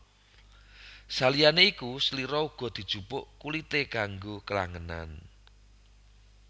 Saliyane iku slira uga dijupuk kulite kanggo klangenan